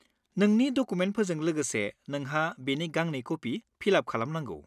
नोंनि डकुमेन्टफोरजों लोगोसे नोंहा बेनि गांनै कपि फिल-आप खालामनांगौ।